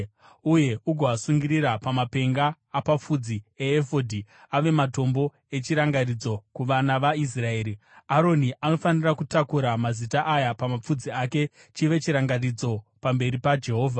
uye ugoasungirira pamapenga apapfudzi eefodhi ave matombo echirangaridzo kuvana vaIsraeri. Aroni anofanira kutakura mazita aya pamapfudzi ake chive chirangaridzo pamberi paJehovha.